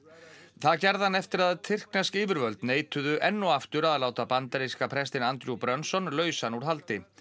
það gerði hann eftir að tyrknesk yfirvöld neituðu enn og aftur að láta bandaríska prestinn Andrew Brunson lausan úr haldi